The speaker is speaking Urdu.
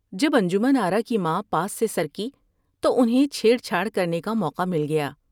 جب انجمن آرا کی ماں پاس سے سر کی تو انھیں چھیڑ چھاڑ کرنے کا موقع مل گیا ۔